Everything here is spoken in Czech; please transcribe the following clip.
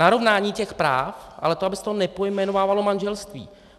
Narovnání těch práv, ale to, aby se to nepojmenovávalo manželství.